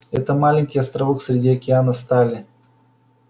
это маленький островок среди океана стали